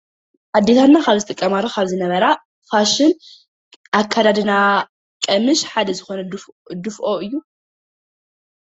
ኣዴታትና ካብ ዝጥቀማሉ ካብ ዝነበራ ፋሽን ኣከዳድና ቀሚሽ ሓደ ዝኾነ ድፍኦ እዩ።